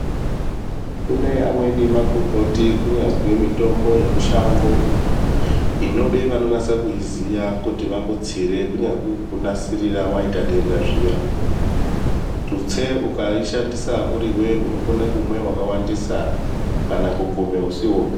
Kune amweni magomboti kunyazwi mitombo yemushango inode vanonase kuiziya kuti vakutsire kunyazwi kukunasirira kana waite denda zviya ,tutse ukaishandisa uriwe unokone kumwe wakawandisa kana kukume usiwopi.